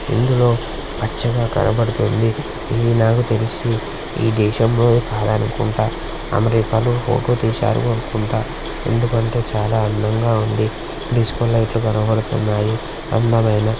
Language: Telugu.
ఇందులో పచ్చగా కనబడుతుంది. ఇది నాకు తెలిసి ఈ దేశంలోది కాదనుకుంట. అమెరికాలో అనుకుంటా. ఎందుకంటే చాలా అందంగా ఉంది. డిస్కో లైట్ లు కనబడుతున్నాయి. అందమైన.